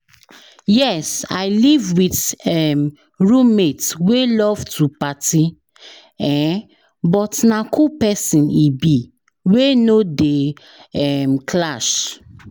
Yes, i live with um roommate wey love to party, um but na cool pesin e be, we no dey um clash.